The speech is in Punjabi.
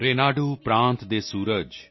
ਰੇਨਾਡੂ ਪ੍ਰਾਂਤ ਦੇ ਸੂਰਜ